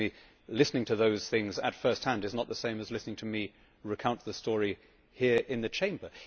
Believe me, listening to those things at first hand is not the same as listening to me recount the story here in the Chamber.